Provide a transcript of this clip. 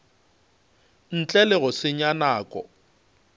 ntle le go senya nako